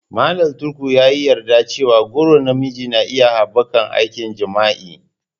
Mallam Tukur ya yi yarda cewa goron na miji na iya haɓaka aikin jima'i.